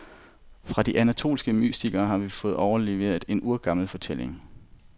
Fra de anatolske mystikere har vi fået overleveret en urgammel fortælling.